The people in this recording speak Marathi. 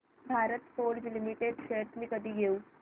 भारत फोर्ज लिमिटेड शेअर्स मी कधी घेऊ